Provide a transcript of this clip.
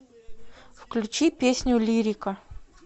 включи песню лирика